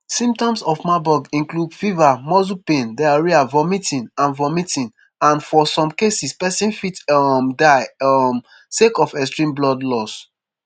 symptoms of marburg include fever muscle pains diarrhoea vomiting and vomiting and for some cases pesin fit um die um sake of extreme blood loss